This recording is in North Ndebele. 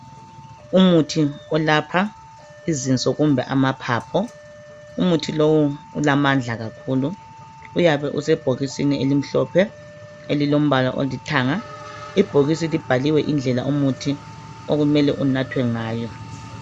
Umuthi olapha izinso kumbe amaphaphu. Umuthi lowu ulamandla kakhulu. Uyabe usebhokisini elimhlophe elilombala olithanga. Ibhokisi libhaliwe indlela umuthi okumele unathwe ngayo.